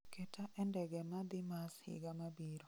Keta e ndege ma dhi mas higa mabiro